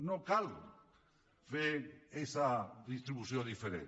no cal fer aquesta distribució diferent